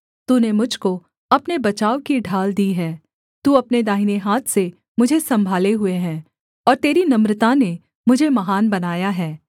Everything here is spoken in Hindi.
तूने मुझ को अपने बचाव की ढाल दी है तू अपने दाहिने हाथ से मुझे सम्भाले हुए है और तेरी नम्रता ने मुझे महान बनाया है